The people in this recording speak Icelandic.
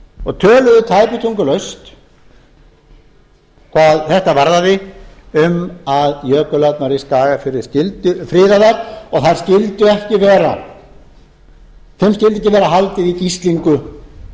og töluðu tæpitungulaust hvað þetta varðaði um að jökulárnar í skagafirði skyldu friðaðar og þeim skyldi ekki vera haldið í gíslingu